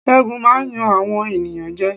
Ṣẹ́gun máa ń yan àwọn ènìyàn jẹ́.